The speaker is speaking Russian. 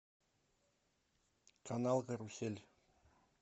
канал карусель